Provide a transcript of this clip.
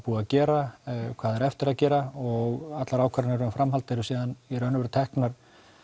búið að gera hvað á eftir að gera og allar ákvarðanir um framhald eru í raun og veru teknar